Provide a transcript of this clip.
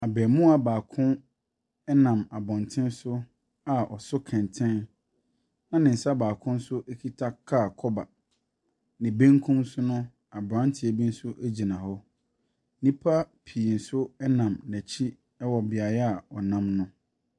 Abarimaa baako bi nam abɔntene so a ɔso kɛntɛn, na ne nsa kita kaa kɔba. Ne benkum so no, aberanteɛ bi gyina hɔ. Nnipa pii nso nam n'akyi wɔ beaeɛ a ɔnam no.